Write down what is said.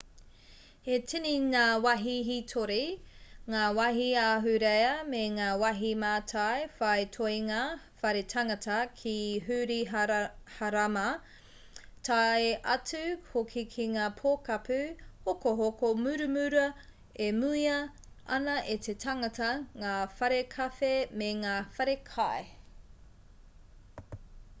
he tini ngā wāhi hītori ngā wāhi ahurea me ngā wāhi mātai whai toenga whare tangata ki hiruhārama tae atu hoki ki ngā pokapū hokohoko muramura e muia ana e te tangata ngā whare kawhe me ngā whare kai